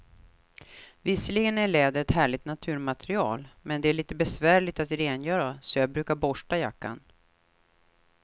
Visserligen är läder ett härligt naturmaterial, men det är lite besvärligt att rengöra, så jag brukar borsta jackan.